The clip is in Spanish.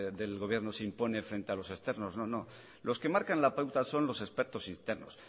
del gobierno se impone frente a los externos no no los que marcan la pauta son los expertos externos